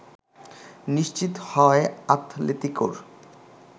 নিশ্চিত হয় আতলেতিকোর